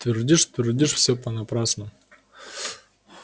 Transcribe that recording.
твердишь твердишь всё понапрасну